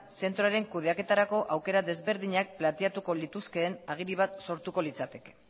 zentroaren kudeaketarako planteamendu ezberdinak planteamenduko lituzkeen agiri bat sortuko litzateke